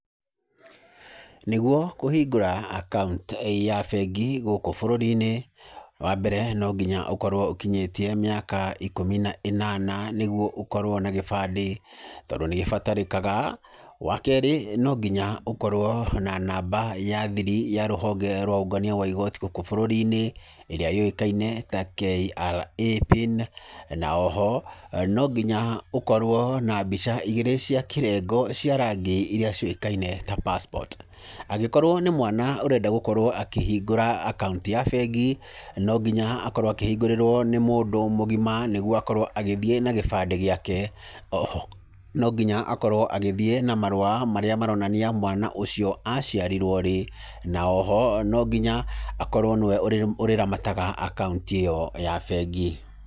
Nĩguo kũhingũra account ya bengi gũkũ bũrũri-inĩ, wa mbere no nginya ũkorwo ũkinyĩtie mĩaka ikũmi na ĩnana nĩguo ũkorwo na gĩbandi, tondũ nĩgĩbatarĩkaga. Wa keerĩ no nginya ũkorwo na namba ya thiri ya rũhonge rwa ũũngania wa igoti gũkũ bũrũri-inĩ ĩrĩa yũĩkaine ta KRA PIN, na o ho no nginya ũkorwo na mbica igĩrĩ cia kĩrengo cia rangi iria ciũĩkaine ta passport. Angĩkorwo nĩ mwana ũrenda gũkorwo akĩhingũra account ya bengi no nginya akorwo akĩhingũrĩrwo nĩ mũndũ mũgima nĩguo akorwo agĩthiĩ na gĩbandĩ gĩake. O ho no nginya akorwo agĩthiĩ na marũa marĩa maronania mwana ũcio aciarirwo rĩ, na o ho, no nginya akorwo nĩ we ũrĩramataga akaũnti ĩyo ya bengi.